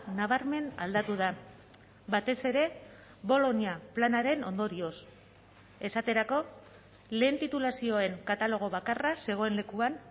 nabarmen aldatu da batez ere bolonia planaren ondorioz esaterako lehen titulazioen katalogo bakarra zegoen lekuan